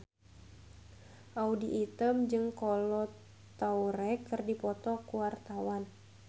Audy Item jeung Kolo Taure keur dipoto ku wartawan